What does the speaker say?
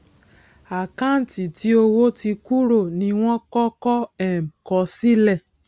àkáǹtì tí owó ti kúrò ní wọn kọkọ um kọ sile